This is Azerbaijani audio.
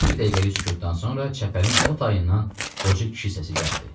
Bir dəqiqəlik sükutdan sonra çəpərin o tayından qoca kişi səsi gəldi.